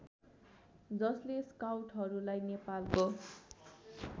जसले स्काउटहरूलाई नेपालको